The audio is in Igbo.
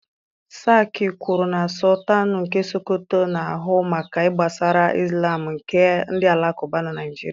Sarki kwuru na Sọltanụ nke Sokoto na-ahụ maka ihe gbasara ịzlam nke ndị Alakụba na Naịjirịa